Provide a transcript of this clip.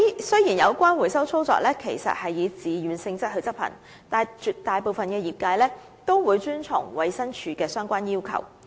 雖然有關回收操作其實是以自願性質執行，但絕大部分業界均會遵從衞生署的相關要求。